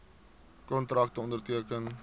kontrakte onderteken